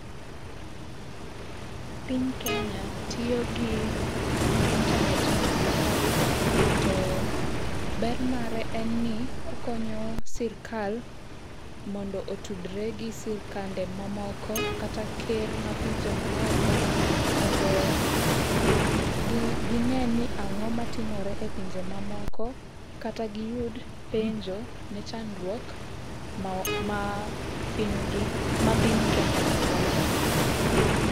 Piny Kenya tiyo gi intanet mar safarikom to ber mare en ni okonyo sirikal mondo otudre gi sirkande mamoko kata ker ma pinje maoko, mondo gine ni ang'o matimore e pinje mamoko kata giyud penjo ne chnadruok ma piny gi ma piny Kenya ni godo.